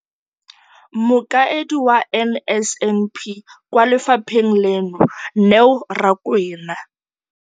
Mokaedi wa NSNP kwa lefapheng leno, Neo Rakwena,